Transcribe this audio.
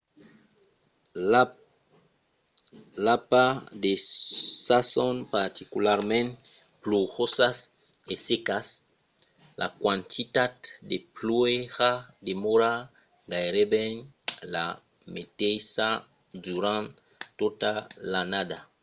i a pas de sasons particularament plujosas e secas": la quantitat de pluèja demòra gaireben la meteissa durant tota l'annada